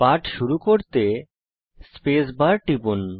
পাঠ শুরু করতে স্পেস বার টিপুন